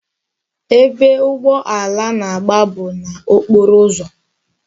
Ebe ugboala na-agba bụ na okporo ụzọ.